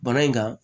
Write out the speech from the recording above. Bana in kan